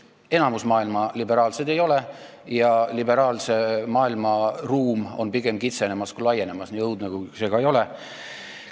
Enamik maailma riike ei ole liberaalsed ja liberaalse maailma ruum pigem kitseneb kui laieneb, nii õudne, kui see ka ei ole.